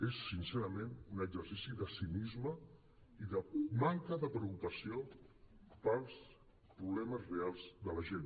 és sincerament un exercici de cinisme i de manca de preocupació pels problemes reals de la gent